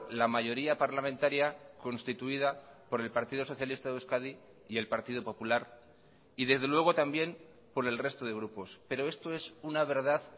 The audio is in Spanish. la mayoría parlamentaria constituida por el partido socialista de euskadi y el partido popular y desde luego también por el resto de grupos pero esto es una verdad